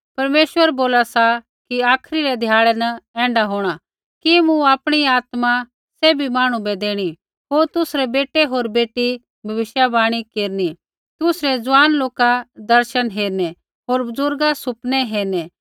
परमेश्वर बोला सा कि आखरी रै ध्याड़ै न ऐण्ढा होंणा कि मूँ आपणी आत्मा सैभी मांहणु बै देणी होर तुसरै बेटै होर बेटी भविष्यवाणी केरनी तुसरै ज़ुआन लोका दर्शन हेरनै होर बज़ुर्गा सुपनै हेरनै